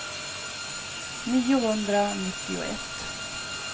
niohundranittioett